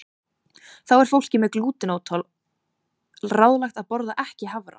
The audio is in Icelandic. Þá er fólki með glútenóþol ráðlagt að borða ekki hafra.